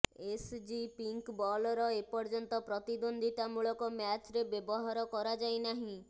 SG pink ବଲର ଏପର୍ଯ୍ୟନ୍ତ ପ୍ରତିଦ୍ୱନ୍ଦ୍ୱିତାମୂଳକ ମ୍ୟାଚରେ ବ୍ୟବହାର କରାଯାଇନାହିଁ